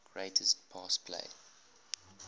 greatest pass play